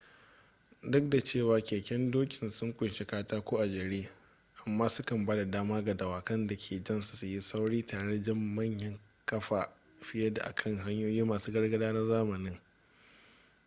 duk da cewa keken dokin sun kunshi katako a jere amma su kan ba da dama ga dawakan da ke jan su yin sauri tare da jan manyan kaya fiye da a kan hanyoyi masu gargada na zamanin